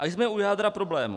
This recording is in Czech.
A jsme u jádra problému.